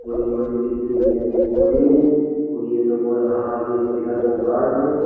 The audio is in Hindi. और इन्होंने कितनी गहरी खोदी है और ये देखो यहां अब ये पिलर को गाड़ दें।